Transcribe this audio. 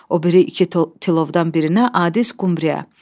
O biri iki tilovdan birinə adis qmriyə.